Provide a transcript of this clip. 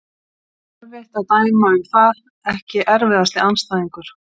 Erfitt að dæma um það Ekki erfiðasti andstæðingur?